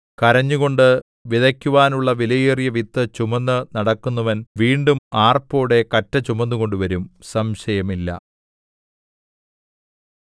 കരഞ്ഞുകൊണ്ട് വിതക്കുവാനുള്ള വിലയേറിയ വിത്ത് ചുമന്ന് നടക്കുന്നവൻ വീണ്ടും ആർപ്പോടെ കറ്റ ചുമന്നുകൊണ്ട് വരും സംശയമില്ല